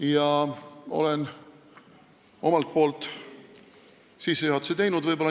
Ja olengi omalt poolt sissejuhatuse teinud.